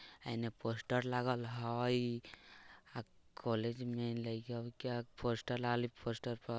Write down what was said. एने पोस्टर लागल हई अ कॉलेज में लड़का का पोस्टर पोस्टर पर--